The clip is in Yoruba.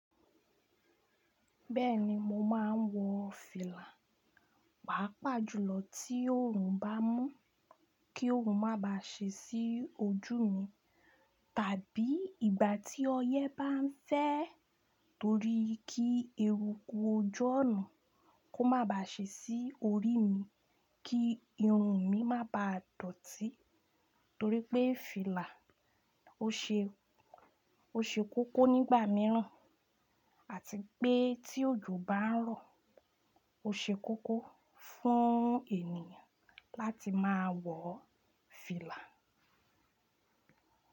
Bẹ́ẹ̀ni mo máa ń wọ fìlà, pàápàá jùlọ tí òòrùn bá mú kí òòrùn má bà ṣe sí ojú mi, tàbí ìgbà tí ọyẹ́ bá ń fẹ́ torí kí eruku oju ona kò má ba ṣe sí orí mi kí irun mi má ba dọ̀tí torí pé fìlà o ṣe, o ṣe kókó nígbà mìíràn àti pé tí òjò bá ń rọ̀ o ṣe kókó fún ènìyàn láti máa wọ fìlà.